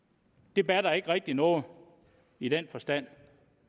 det batter ikke rigtig noget i den forstand